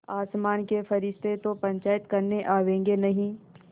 आसमान के फरिश्ते तो पंचायत करने आवेंगे नहीं